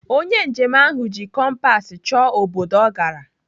Onye njem ahụ ji kompas chọọ obodo ọ gara.